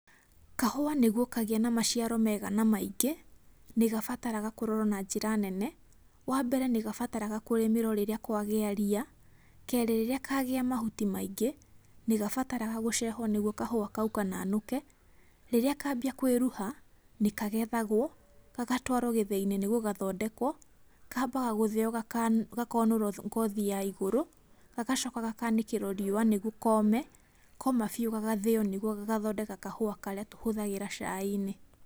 Kahũa nĩguo kagĩe na maciaro mega na maingĩ, nĩgabataraga kũrorwo na njĩra nene. Wa mbere, nĩgabataraga kũrĩmĩrwo rĩrĩa kwagĩa ria. Kerĩ, rĩrĩa kagĩa mauti maingĩ, nĩgabataraga gũcehwo nĩguo kahũa kau kananũke. Rĩrĩa kambia kwĩruha, nĩkagethagwo, gagatwarwo gĩthĩi-inĩ nĩguo gathondekwo, kaambaga gũthĩo gakaũnũrwo ngothi ya igũrũ, gagacoka gakaanĩkĩrwo riũa nĩguo kome. Koma biũ gagathĩo nĩguo gagathondeka kahũa karĩa tũhũthagĩra cai-inĩ.